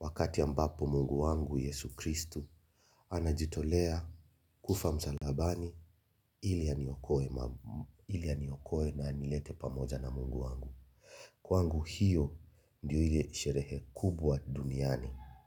Wakati ambapo Mungu wangu Yesu Kristu anajitolea kufa msalabani ili aniokoe na anilete pamoja na Mungu wangu. Kwaangu hiyo ndio ile sherehe kubwa duniani.